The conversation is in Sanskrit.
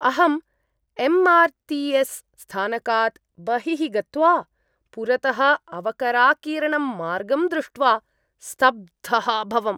अहम् एम् आर् ति एस् स्थानकात् बहिः गत्वा पुरतः अवकराकीर्णं मार्गं दृष्ट्वा स्तब्धः अभवम्।